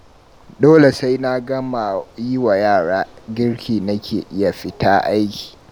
Dole sai na gama yi wa yara girki nake iya fita aiki